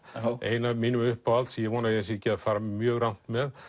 ein af mínum uppáhalds ég vona að ég sé ekki að fara mjög rangt með